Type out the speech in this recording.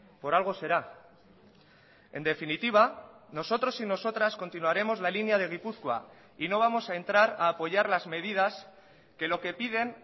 por algo será en definitiva nosotros y nosotras continuaremos la línea de gipuzkoa y no vamos a entrar a apoyar las medidas que lo que piden